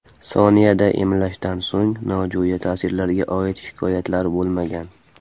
Soniyada emlashdan so‘ng, nojo‘ya ta’sirlarga oid shikoyatlar bo‘lmagan.